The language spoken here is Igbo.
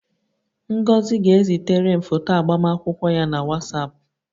Ngozi ga-ezitere m foto agbamakwụkwọ ya na Whatsapp